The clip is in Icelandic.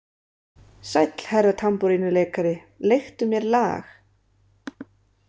Sæll, herra tambúrínuleikari, leiktu mér lag.